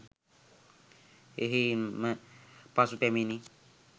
එහෙයින් ම පසු පැමිණි